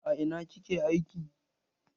A ina ki ke aiki?